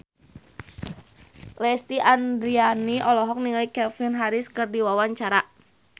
Lesti Andryani olohok ningali Calvin Harris keur diwawancara